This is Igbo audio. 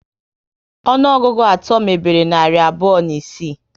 Ọnụọgụgụ atọ mebere narị abụọ na isii